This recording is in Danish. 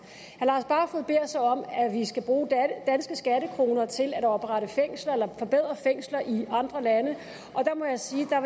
herre at vi skal bruge danske skattekroner til at oprette fængsler eller forbedre fængsler i andre lande og der må jeg sige at